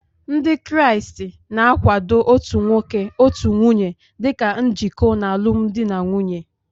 Ndị Kraịst na-akwado otu nwoke otu nwunye dị ka njikọ n'alụmdi na nwunye